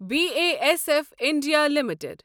B A S F India limited